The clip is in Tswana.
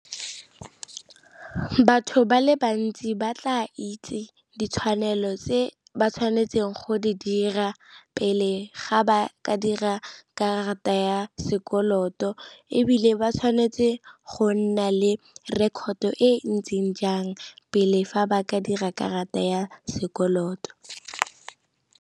Batho ba le bantsi ba tla itse ditshwanelo tse ba tshwanetseng go di dira pele ga ba ka dira karata ya ya sekoloto, ebile ba tshwanetse go nna le record e ntseng jang pele fa ba ka dira karata ya sekoloto.